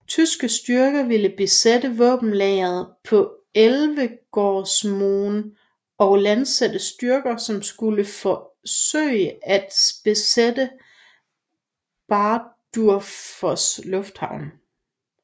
Tyske styrker ville besætte våbenlageret på Elvegårdsmoen og landsætte styrker som skulle forsøge at besætte Bardufoss lufthavn